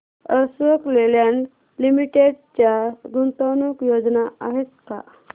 Ashok Leyland limited च्या गुंतवणूक योजना आहेत का